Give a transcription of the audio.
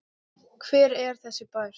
Hver er þessi bær?